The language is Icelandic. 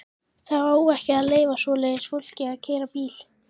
Það á ekki að leyfa svoleiðis fólki að keyra bíl!